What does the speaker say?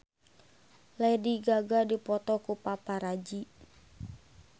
Lady Gaga dipoto ku paparazi